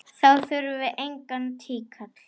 Þá þurfum við engan tíkall!